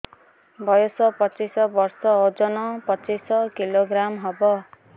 ବୟସ ପଚିଶ ବର୍ଷ ଓଜନ ପଚିଶ କିଲୋଗ୍ରାମସ ହବ